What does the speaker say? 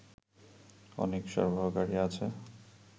অনেক সরবরাহকারী আছে